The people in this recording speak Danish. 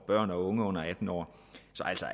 børn og unge under atten år